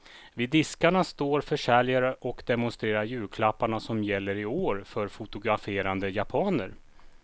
Vid diskarna står försäljare och demonstrerar julklapparna som gäller i år för fotograferande japaner.